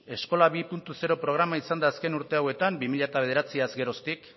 eskola bi puntu zero programa izan da azken urte hauetan bi mila bederatziaz geroztik